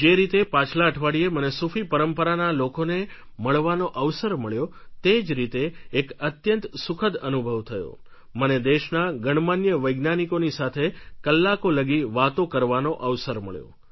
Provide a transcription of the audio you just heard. જે રીતે પાછલા અઠવાડિયે મને સૂફી પરંપરાના લોકોને મળવાનો અવસર મળ્યો તે જ રીતે એક અત્યંત સુખદ અનુભવ થયો મને દેશના ગણમાન્ય વૈજ્ઞાનિકોની સાથે કલાકો લગી વાતો કરવાનો અવસર મળ્યો